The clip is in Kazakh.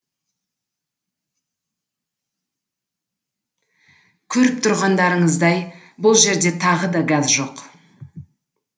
көріп тұрғандарыңыздай бұл жерде тағы да газ жоқ